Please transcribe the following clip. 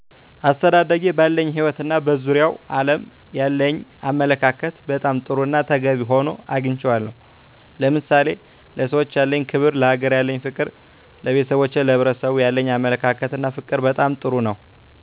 አስተዳደጌ ባለኝ ህይወት እና በዙሪያው ዓለም ያለኝ አመለካከት በጣም ጥሩና ተገቢ ሆኖ አግኝቸዋለሁ። ለምሳሌ፦ ለሰዎች ያለኝ ክብር፣ ለሀገሬ ያለኝ ፍቅር፣ ለቤተሰቦቼና ለሕብረሰቡ ያለኝ አመለካከትና ፍቅር በጣም ጥሩ ነው።